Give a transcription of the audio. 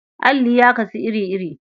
Alli ya kasu iri-iri.